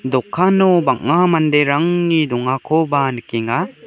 dokano bang·a manderangni dongakoba nikenga.